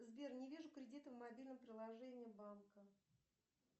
сбер не вижу кредита в мобильном приложении банка